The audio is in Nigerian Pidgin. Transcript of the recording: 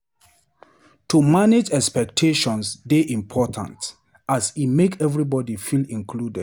To dey manage expectations dey important as e make everybody feel included.